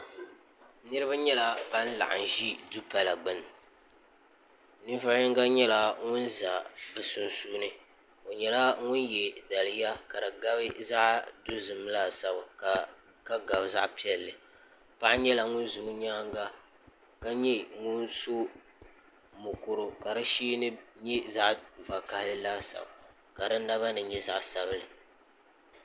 niraba nyɛla ban laɣam ʒi dupala gbuni ninvuɣu yinga nyɛla ŋun ʒɛ bi sunsuuni o nyɛla ŋun yɛ diliya ka di gabi zaɣ dozim laasabu ka gabi zaɣ piɛlli paɣa nyɛla ŋun ʒɛ o nyaanga ka nyɛ ŋun so mokuru ka di sheeni nyɛ zaɣ vakaɣali laasabu ka di naba ni nyɛ zaɣ sabinli